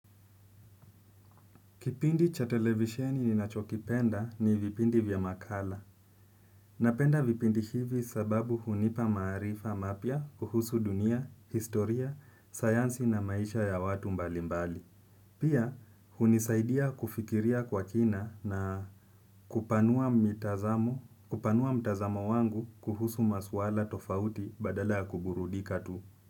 Kipindi cha televisheni ninachokipenda ni vipindi vya makala. Napenda vipindi hivi sababu hunipa maarifa mapya kuhusu dunia, historia, sayansi na maisha ya watu mbalimbali. Pia, hunisaidia kufikiria kwa kina na kupanua kupanua mtazamo wangu kuhusu maswala tofauti badala ya kuburudika tu.